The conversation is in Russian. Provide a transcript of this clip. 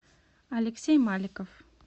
алексей маликов